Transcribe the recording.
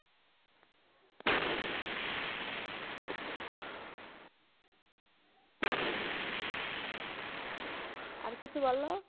আর কিছু বলো।